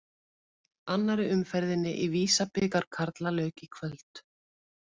Annarri umferðinni í Visa-bikar karla lauk í kvöld.